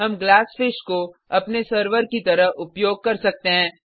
हम ग्लासफिश को अपने सर्वर की तरह उपयोग कर सकते हैं